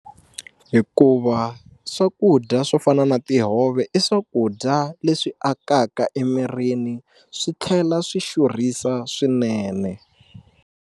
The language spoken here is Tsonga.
Hikuva swakudya swo fana na tihove i swakudya leswi akaka emirini swi tlhela swi xurhisa swinene.